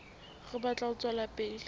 re batla ho tswela pele